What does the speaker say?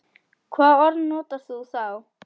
Hvaða orð notar þú þá?